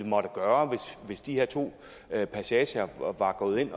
måtte gøre hvis de her to passager var var gået ind